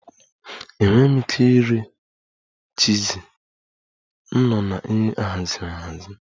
Enweghị m ike iri chizi, m nọ na nri ahaziri ahazi